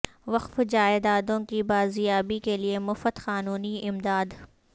وقف جائیدادوں کی بازیابی کے لیے مفت قانونی امداد